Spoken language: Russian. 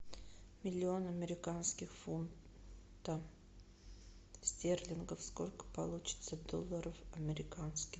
миллион американских фунтов стерлингов сколько получится долларов американских